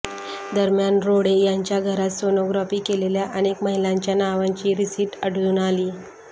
दरम्यान रोढे याच्या घरात सोनोग्राफी केलेल्या अनेक महिलांच्या नावांची रिसीट आढळून आलीय